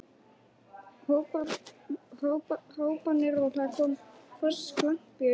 hrópanir og það kom hvass glampi í augu hans.